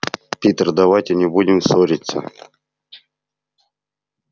питер давайте не будем ссориться